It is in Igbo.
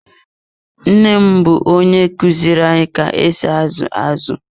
Nne m bụ onye kuziru anyị ka esi azu azụ.